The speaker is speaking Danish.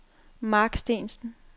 Marc Steensen